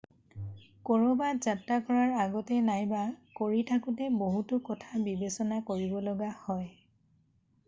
কৰবাত যাত্ৰা কৰাৰ আগতে নাইবা কৰি থাকোতে বহুতো কথা বিবেচনা কৰিব লগা হয়